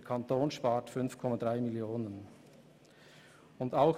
Der Kanton spart damit 5,3 Mio. Franken.